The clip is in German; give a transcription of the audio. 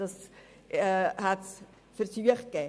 Dazu gab es Versuche.